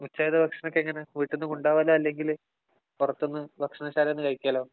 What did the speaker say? ഉച്ചയിലെ ഭക്ഷണമൊക്കെ എങ്ങനെ? വീട്ടീന്ന് കൊണ്ടുപോകലോ അല്ലെങ്കില്‍ പൊറത്തുന്നു ഭക്ഷണ ശാലയില്‍ നിന്നും കഴിക്കാലോ?